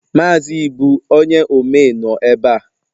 Mazị Ibu onye omee nọ ebe a